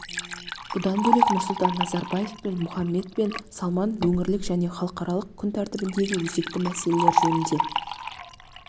бұдан бөлек нұрсұлтан назарбаев пен мұхаммед бен салман өңірлік және халықаралық күн тәртібіндегі өзекті мәселелер жөнінде